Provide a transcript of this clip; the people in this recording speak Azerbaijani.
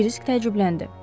Krisk təəccübləndi.